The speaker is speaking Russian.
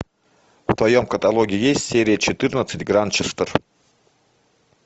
в твоем каталоге есть серия четырнадцать гранчестер